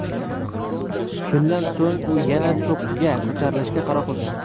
Shundan so‘ng u yana cho‘qqiga ko‘tarilishga qaror qilgan.